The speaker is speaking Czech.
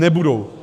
Nebudou.